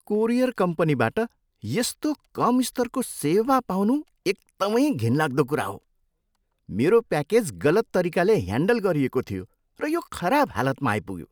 Courier कम्पनीबाट यस्तो कम स्तरको सेवाको पाउनु एकदमै घिनलाग्दो कुरा हो। मेरो प्याकेज गलत तरिकाले ह्यान्डल गरिएको थियो, र यो खराब हालतमा आइपुग्यो।